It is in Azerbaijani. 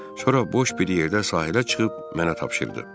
Sonra boş bir yerdə sahilə çıxıb mənə tapşırdı.